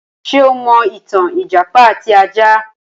Ṣé o mọ ìtàn ìjàpá àti ajá?